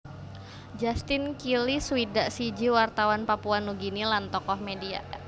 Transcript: Justin Kili swidak siji wartawan Papua Nugini lan tokoh média